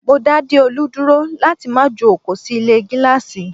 Mó dá Deolu dúró láti má ju oko sì ilé gíláàsì